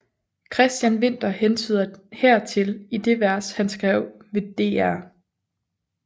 Christian Winther hentyder hertil i det vers han skrev ved Dr